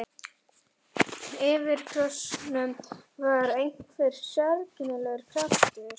Yfir krossinum var einhver sérkennilegur kraftur.